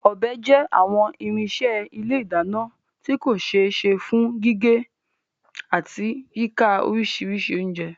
Ọbẹ̀ jẹ́ àwọn irinṣẹ́ ilé ìdáná tí kò ṣe é ṣe fún gígé, gé, àti yíka oríṣiríṣi oúnjẹ.